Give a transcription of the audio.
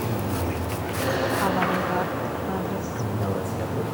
авангард адрес